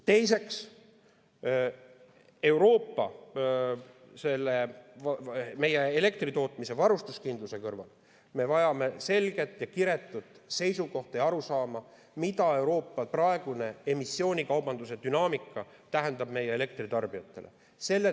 Teiseks, me vajame elektri varustuskindluse kõrval selget ja kiretut seisukohta ja arusaama, mida Euroopa praegune emissioonikaubanduse dünaamika tähendab meie elektritarbijatele.